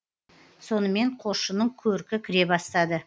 сонымен қосшының көркі кіре бастады